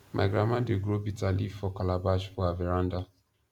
my grandma dey grow bitter leaf for calabash for her veranda